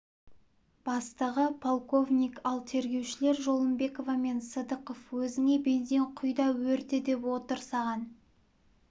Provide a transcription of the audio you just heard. бастығы полковник ал тергеушілер жолымбекова мен сыдықов өзіңе бензин құй да өрте деп отыр саған